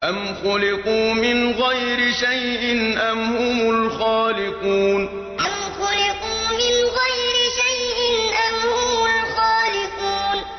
أَمْ خُلِقُوا مِنْ غَيْرِ شَيْءٍ أَمْ هُمُ الْخَالِقُونَ أَمْ خُلِقُوا مِنْ غَيْرِ شَيْءٍ أَمْ هُمُ الْخَالِقُونَ